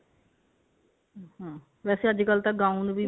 hm ਵੇਸੇ ਅੱਜਕਲ ਤਾਂ gown ਵੀ